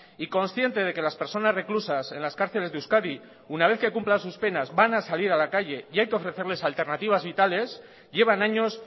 y consciente de que las personas reclusas en las cárceles de euskadi una vez que cumplan sus penas van a salir a la calle y hay que ofrecerles alternativas vitales llevan años